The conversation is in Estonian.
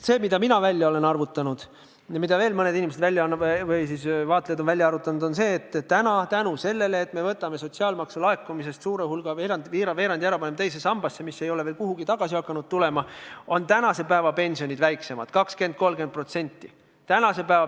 See, mille mina olen välja arvutanud ja mille veel mõned inimesed, vaatlejad, on välja arvutanud, on see, et selle tõttu, et me võtame laekunud sotsiaalmaksust suure hulga – veerandi – ära ja paneme teise sambasse, mis ei ole veel midagi tagasi hakanud tootma, on tänase päeva pensionid 20–30% väiksemad.